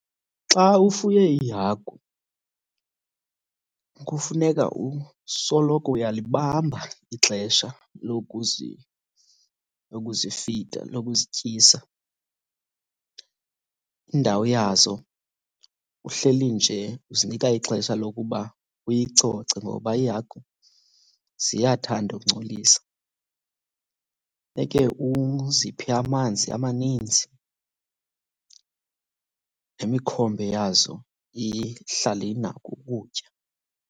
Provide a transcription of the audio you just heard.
Xa ufuye iihagu kufuneka usoloko uyalibamba ixesha lokuzifida, lokuzityisa. Indawo yazo uhleli nje uzinika ixesha lokuba uyicoce ngoba iihagu ziyathanda ukungcolisa. Funeke uziphe amanzi amaninzi nemikhombe yazo ihlale inako ukutya.